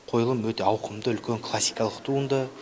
қойылым өте ауқымды үлкен классикалық туынды